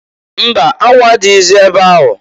Mba! Anwụ adịghịzị ebe ahụ.